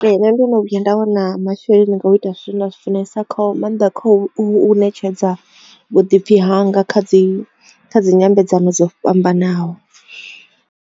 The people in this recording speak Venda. Nṋe ndo no vhuya nda wina masheleni nga u ita zwithu zwine nda zwi funesa nga maanḓa kha u ṋetshedza vhuḓipfi hanga kha dzi dzi nyambedzano dzo fhambanaho.